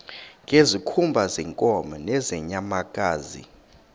ngezikhumba zeenkomo nezeenyamakazi